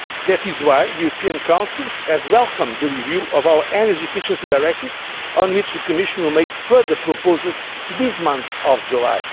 must we. That is why the European Council has welcomed the review of our Energy Efficiency Directive on which the Commission will make further proposals in this month